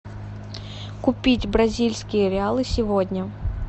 купить бразильские реалы сегодня